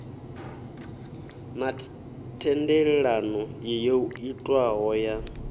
na thendelano yo itwaho ya